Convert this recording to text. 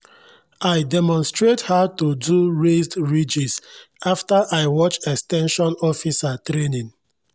i demonstrate how to do raised ridges after i watch ex ten sion officer training.